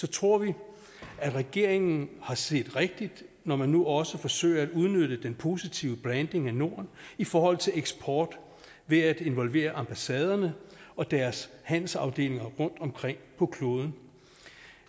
tror vi regeringen har set rigtigt når den nu også forsøger at udnytte den positive branding af norden i forhold til eksport ved at involvere ambassaderne og deres handelsafdelinger rundtomkring på kloden